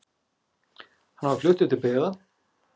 Hann var fluttur til byggða.